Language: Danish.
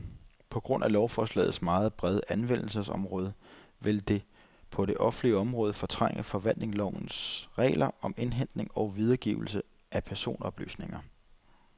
På grund af lovforslagets meget brede anvendelsesområde vil det på det offentlige område fortrænge forvaltningslovens regler om indhentning og videregivelse af personoplysninger.